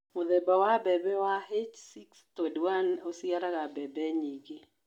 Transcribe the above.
Mũthemba wa mbembe wa H621 uciaraga mbembe nyingĩ.